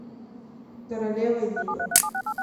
королева юга